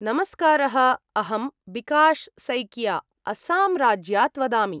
नमस्कारः। अहं बिकाशसैकिया अस्साम्राज्यात् वदामि।